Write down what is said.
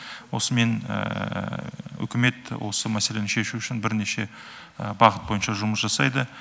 осымен үкімет осы мәселені шешу үшін бірнеше бағыт бойынша жұмыс жасайды